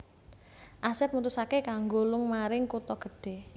Asep mutusaké kanggo lung maring kutha gedhe